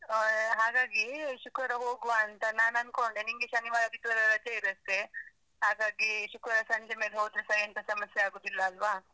ಆ ಹಾಗಾಗಿ ಶುಕ್ರವಾರ ಹೋಗ್ವಾ ಅಂತ ನಾನ್ ಅನ್ಕೊಂಡೆ, ನಿಂಗೆ ಶನಿವಾರ ಆದಿತ್ವಾರ ರಜೆ ಇರತ್ತೆ. ಹಾಗಾಗಿ, ಶುಕ್ರವಾರ ಸಂಜೆ ಮೇಲೆ ಹೋದ್ರೂ ಸ ಎಂತ ಸಮಸ್ಯೆ ಆಗುದಿಲ್ಲ ಅಲ್ವ?